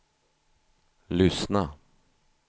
lyssna